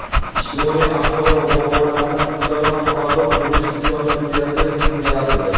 ijtimoiy ahvoli va muammolaridan to‘laroq xabardor bo‘lish imkonini beradigan tizim yaratildi.